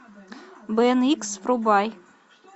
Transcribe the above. бен икс врубай